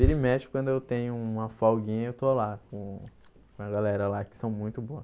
Vira e mexe, quando eu tenho uma folguinha, eu estou lá com com a galera lá, que são muito boa.